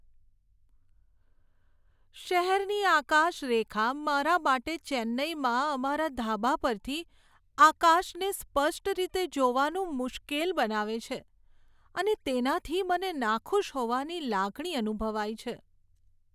શહેરની આકાશરેખા મારા માટે ચેન્નાઈમાં અમારા ધાબા પરથી આકાશને સ્પષ્ટ રીતે જોવાનું મુશ્કેલ બનાવે છે અને તેનાથી મને નાખુશ હોવાની લાગણી અનુભવાય છે.